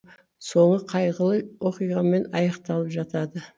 соңы қайғылы оқиғамен аяқталып жатады